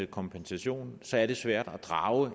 kompensation så er det svært